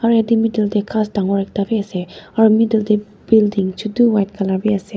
etu middle te ghas dangor ekta bhi ase aru middle te building chotu white colour bhi ase.